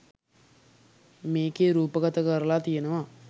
මේකේ රූපගත කරලා තියනවා.